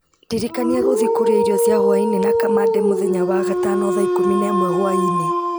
ndirikania gũthiĩ kũrĩa irio cia hwaĩ-inĩ na kamande mũthenya wa gatano thaa ikũmi na ĩmwe hwaĩ-inĩ